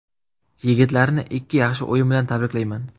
Yigitlarni ikki yaxshi o‘yin bilan tabriklayman.